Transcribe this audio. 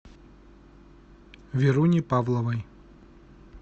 веруне павловой